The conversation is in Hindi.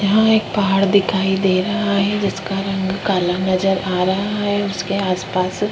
यहाँ एक पहाड़ दिखाई दे रहा है जिसका रंग काला नजर आ रहा है उसके आस पास --